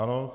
Ano.